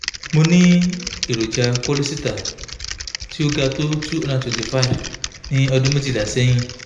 mo ní èròjà kólésítà tó ga tó two hundred and twenty five ní ọdún méjìlá sẹ́yìn